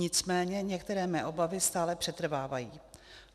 Nicméně některé mé obavy stále přetrvávají.